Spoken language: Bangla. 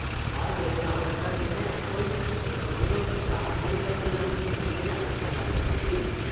আর বলিস না আধার কার্ড মানে এখন আহ কোনো কাজ নেই বা কোনো এমন জিনিস নেই যে আধার কার্ড লাগে না বুজলি